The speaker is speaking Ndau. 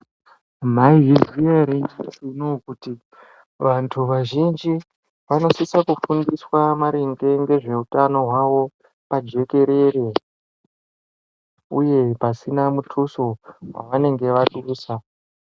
Maizviziya ere nyamashi unou kuti vanthu vazhinji vanosisa kufundiswa maringe ngezveutano hwavo pajekerere uye pasina mutuso wavanenge vadusa.